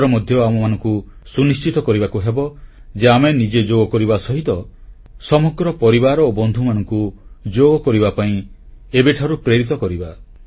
ଏଥର ମଧ୍ୟ ଆମମାନଙ୍କୁ ସୁନିଶ୍ଚିତ କରିବାକୁ ହେବ ଯେ ଆମେ ନିଜେ ଯୋଗ କରିବା ସହିତ ସମଗ୍ର ପରିବାର ଓ ବନ୍ଧୁମାନଙ୍କୁ ଯୋଗ କରିବା ପାଇଁ ଏବେଠାରୁ ପ୍ରେରିତ କରିବା